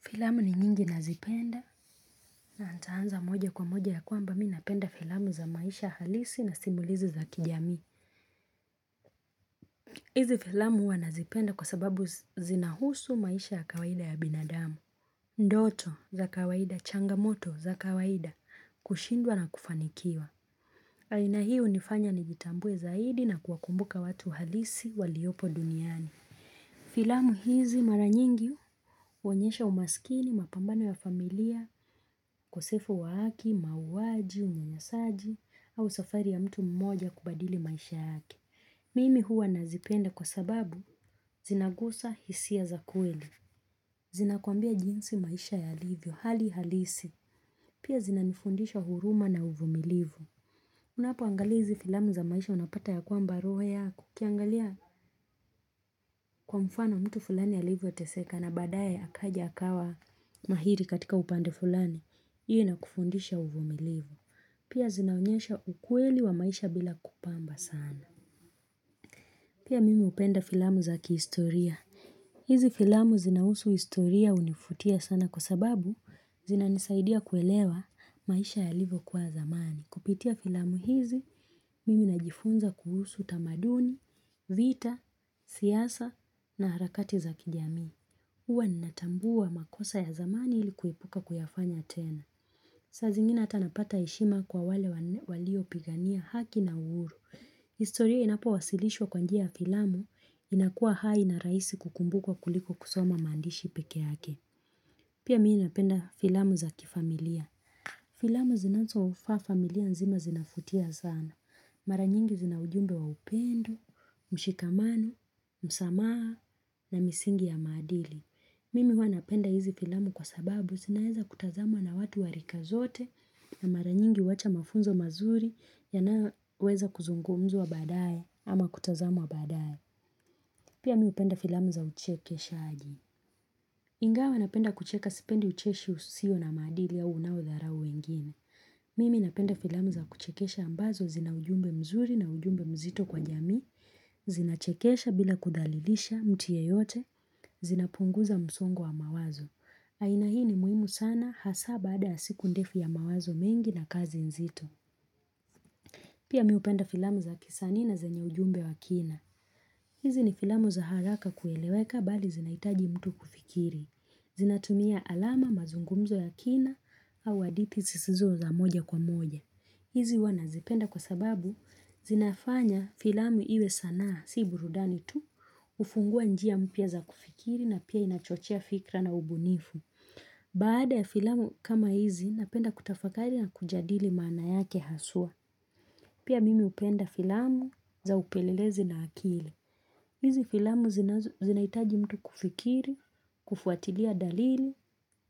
Filamu ni nyingi nazipenda na nitaanza moja kwa moja ya kwamba mi napenda filamu za maisha halisi na simulizi za kijami. Hizi filamu huwa nazipenda kwa sababu zinahusu maisha ya kawaida ya binadamu. Ndoto za kawaida, changamoto za kawaida, kushindwa na kufanikiwa. Aina hiiu nifanya nijitambue zaidi na kuwakumbuka watu halisi waliopo duniani. Filamu hizi mara nyingi huonyesha umasikini mapambano ya familia, uKosefu wa aki, mauwaji, unyanyasaji au safari ya mtu mmoja kubadili maisha yake. Mimi huwa nazipenda kwa sababu zinagusa hisia za kweli. Zinakuambia jinsi maisha yalivyo hali halisi. Pia zinanifundisha huruma na uvumilivu. Unapo angalia hizi filamu za maisha unapata ya kwamba roho yako ukiangalia kwa mfano mtu fulani ya alivyo teseka na baadaye akaja akawa mahiri katika upande fulani. Iyo ina kufundisha uvumilivu. Pia zinaonyesha ukweli wa maisha bila kupamba sana. Pia mimi upenda filamu zaki istoria. Hizi filamu zinausu istoria unifutia sana kwa sababu zina nisaidia kuelewa maisha ya livo kuwa zamani. Kupitia filamu hizi, mimi najifunza kuhusu tamaduni, vita, siyasa na harakati za kijamii. Huwa ninatambua makosa ya zamani ilikuipuka kuyafanya tena. Sazingine ata napata heshima kwa wale walio pigania haki na uhuru. Historia inapo wasilishwa kwanjia filamu inakuwa hai na raisi kukumbukwa kuliko kusoma maandishi peke yake. Pia mimi napenda filamu za kifamilia. Filamu zinanzo ufa familia nzima zinafutia zana. Maranyingi zinaujumbe wa upendo, mshikamano, msamaha na misingi ya madilii. Mimi wanapenda hizi filamu kwa sababu zinaeza kutazamwa na watu wa rika zote ya maranyingi wacha mafunzo mazuri yanayoweza kuzungumwa badaye ama kutazamwa badaye. Pia mi upenda filamu za uchekeshaaji. Ingawa napenda kucheka sipendi ucheshi usio na madili au unao dharau wengine. Mimi napenda filamu za kuchekesha ambazo zina ujumbe mzuri na ujumbe mzito kwa jamii. Zinachekesha bila kudhalilisha mtu yeyote. Zina punguza msongo wa mawazo. Aina hii ni muhimu sana hasa bada ya siku ndefu ya mawazo mengi na kazi nzito. Pia mimi hupenda filamu za kisanii na zenye ujumbe wa kina. Hizi ni filamu za haraka kueleweka bali zinaitaji mtu kufikiri. Zinatumia alama mazungumzo ya kina au hadithi zisizo za moja kwa moja. Hizi huwa nazipenda kwa sababu zinafanya filamu iwe sana si burudani tu hufungua njia mpia za kufikiri na pia inachochea fikra na ubunifu. Baada ya filamu kama hizi napenda kutafakari na kujadili mana yake hasua Pia mimi upenda filamu za upelelezi na akili hizi filamu zinaitaji mtu kufikiri, kufuatilia dalili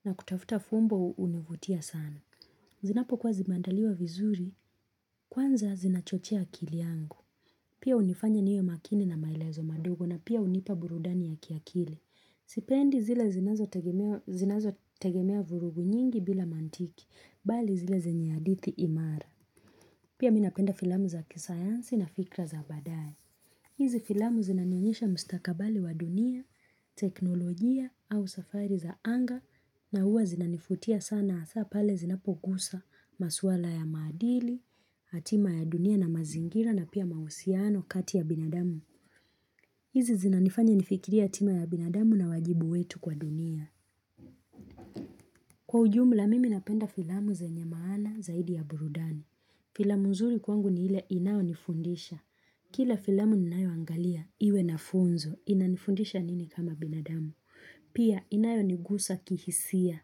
na kutafuta fumbo hunivutia sana Zinapo kwa zibandaliwa vizuri, kwanza zinachochea akili yangu Pia unifanya niwe makini na maelezo madogo na pia hunipa burudani ya kiakili Sipendi zile zinazo tegemea vurugu nyingi bila mantiki Bali zile zenye hadithi imara Pia minapenda filamu za kisayansi na fikra za baadae hizi filamu zinanionyesha mustakabali wa dunia, teknolojia au safari za anga na huwa zinaniuvtia sana asapale zinapogusa maswala ya madili hatima ya dunia na mazingira na pia mahusiano kati ya binadamu hizi zinanifanya nifikirie hatima ya binadamu na wajibu wetu kwa dunia. Kwa ujumla mimi napenda filamu zenye maana zaidi ya burudani. Filamu nzuri kwangu ni hile inayo nifundisha. Kila filamu ninayo angalia, iwe na funzo, inanifundisha nini kama binadamu. Pia inayo nigusa kihisia,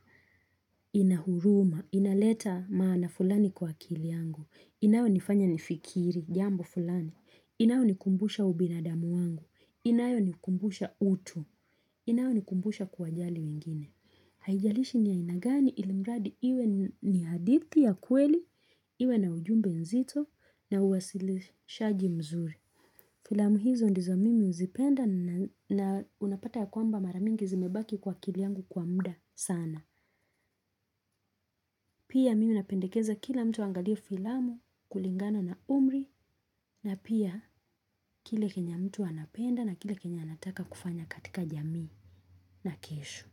inahuruma, inaleta maana fulani kwa akili angu. Inayo nifanya nifikiri, jambo fulani. Inayo nikumbusha ubinadamu wangu. Inayo ni kumbusha utu, inayo ni kumbusha kuwajali mingine. Haijalishi ni ya aina gani ilimradi iwe ni hadihti ya kweli, iwe na ujumbe nzito na uwasili shaji mzuri. Filamu hizo ndizo mimi uzipenda na unapata ya kwamba maramingi zimebaki kwa kili yangu kwa mda sana. Pia mimi napendekeza kila mtu angalia filamu kulingana na umri na pia kila kenye mtu anapenda na kila kenya anataka kufanya katika jamii. Na keshu.